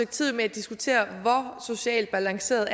tid med at diskutere hvor socialt balanceret